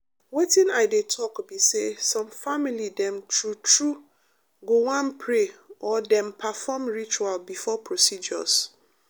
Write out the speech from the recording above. wetin i dey talk be say some family dem true true go wan pray or dem perform ritual before procedures.